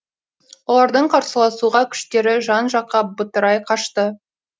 олардың қарсыласуға күштері жан жаққа бытырай қашты